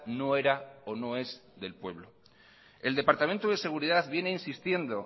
no era o no es del pueblo el departamento de seguridad viene insistiendo